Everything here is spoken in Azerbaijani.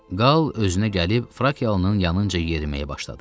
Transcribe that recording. Qal özünə gəlib Frakiyalıının yanınca yeriməyə başladı.